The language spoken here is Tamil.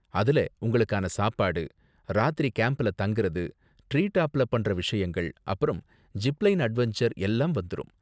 அதுல உங்களுக்கான சாப்பாடு, ராத்திரி கேம்ப்ல தங்கறது, டிரீ டாப்ல பண்ற விஷயங்கள், அப்பறம் ஜிப் லைன் அட்வென்சர் எல்லாம் வந்துரும்.